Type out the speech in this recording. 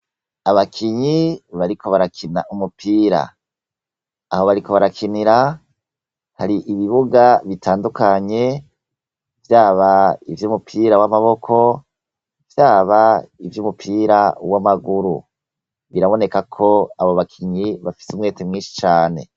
Abakinyi bariko barakina umupira, aho bariko barakinira hari ibibuga bitandukanye vyaba ivy'umupira w'amaboko, byaba ivy'umupira w'amaguru, biraboneka ko abo bakinyi bafite umwete mwinshi Cane.